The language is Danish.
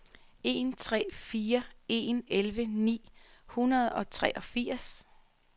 en tre fire en elleve ni hundrede og treogfirs